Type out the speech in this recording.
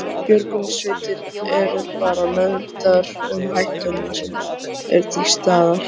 Björgunarsveitir eru bara meðvitaðar um hættuna sem er til staðar?